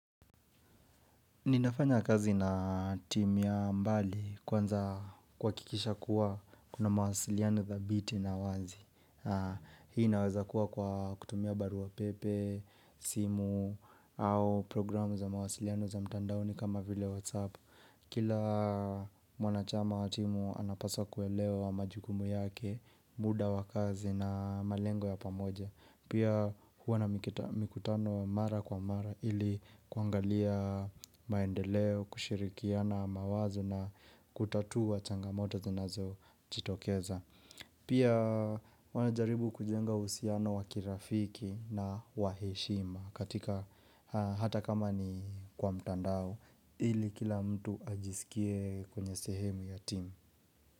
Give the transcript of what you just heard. Ninafanya kazi na timu ya mbali kwanza kuhakikisha kuwa kuna mawasiliano dhabiti na wazi Hii inaweza kuwa kwa kutumia barua pepe, simu au programu za mawasiliano za mtandaoni kama vile whatsapp Kila mwanachama wa timu anapaswa kuelewa majukumu yake, muda wa kazi na malengo ya pamoja Pia huwa na mikutano mara kwa mara ili kuangalia maendeleo, kushirikiana mawazo na kutatua changamota zinazojitokeza. Pia wanajaribu kujenga usiano wa kirafiki na wa heshima katika hata kama ni kwa mtandao ili kila mtu ajisikie kwenye sehemu ya timu.